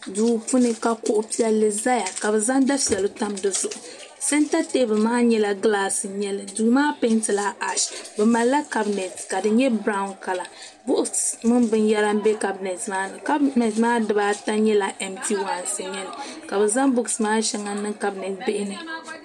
duu puuni ka kuɣu piɛlli ʒɛya ka bi zaŋ dufɛli tam dizuɣu sɛnta teebuli maa nyɛla gilaas n nyɛli duu maa peentila ash bi malila kabinɛt ka di nyɛ biraawn kala buuks mini binyɛra n bɛ kabinɛt maa ni kabinɛt maa dibaata nyɛla ɛmti waans n nyɛli ka bi zaŋ buuks maa shɛŋa niŋ kabinɛt bihi ni